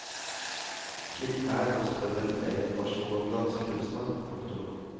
Klikk her og spør etter mer informasjon om dansekursene. punktum